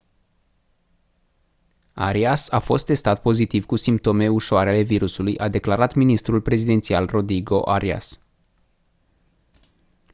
arias a fost testat pozitiv cu simptome ușăare ale virusului a declarat ministrul prezidențial rodrigo arias